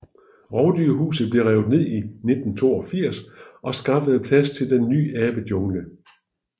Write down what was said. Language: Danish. Rovdyrhuset blev revet ned i 1982 og skaffes plads til den ny Abejungle